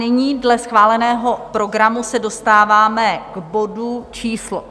Nyní dle schváleného programu se dostáváme k bodu číslo